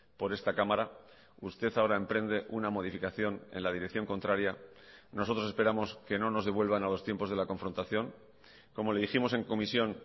por esta cámara usted ahora emprende una modificación en la dirección contraria nosotros esperamos que no nos devuelvan a los tiempos de la confrontación como le dijimos en comisión